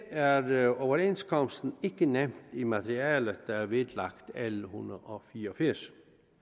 er er overenskomsten ikke nævnt i materialet der er vedlagt l en hundrede og fire og firs